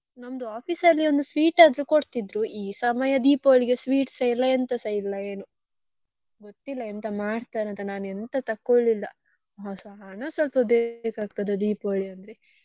ನಮ್ದು office ಅಲ್ಲಿ ಒಂದು sweet ಆದ್ರೂ ಕೊಡ್ತಿದ್ರು ಈ ಸಮಯ Deepavali ಗೆ sweets ಸ ಇಲ್ಲ ಎಂತಸಾ ಇಲ್ಲ ಏನೋ ಗೊತ್ತಿಲ್ಲ ಎಂತ ಮಾಡ್ತಾರೆ ಅಂತ ನಾನ್ ಎಂತ ತಕೊಳ್ಲಿಲ್ಲ ಹಣ ಸ್ವಲ್ಪ ಬೇಕ್ ಆಗ್ತದೆ Deepavali ಅಂದ್ರೆ.